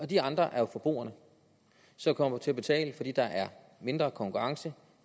de andre er jo forbrugerne som kommer til at betale fordi der er mindre konkurrence og